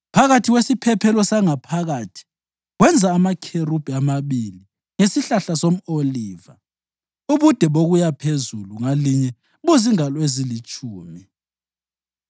Phakathi kwesiphephelo sangaphakathi wenza amakherubhi amabili ngesihlahla somʼoliva, ubude bokuya phezulu ngalinye buzingalo ezilitshumi.